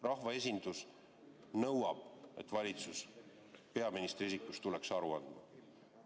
Rahvaesindus nõuab, et valitsus peaministri isikus tuleks aru andma.